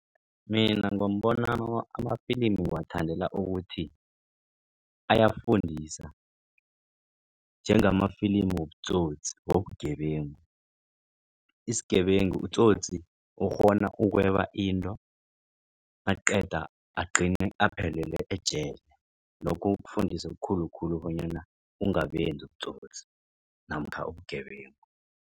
Mina ngombonami amafilimi ngiwathandela ukuthi ayafundisa njengamafilimi wobutsotsi wobugebengu. Isigebengu utsotsi ukghona ukweba into aqeda agcine aphelele ejele. Lokho kukufundisa okukhulukhulu bonyana ungabenzi ubutsotsi namkha ubugebengu.